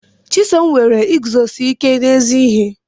Chisom nwere iguzosi ike n'ezi ihe.